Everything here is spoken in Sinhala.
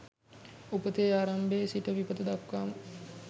උපතේ ආරම්භයේ සිට විපත දක්වාම